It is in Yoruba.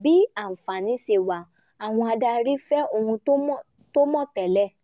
bí àǹfààní ṣe wà àwọn adarí fẹ́ ohun tó mọ̀ tẹ́lẹ̀